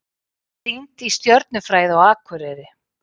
Rýnt í stjörnufræði á Akureyri